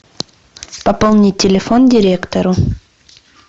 пополнить телефон директору